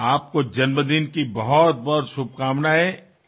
আপোনাক জন্মদিনৰ অনেক শুভেচ্ছা যাচিলো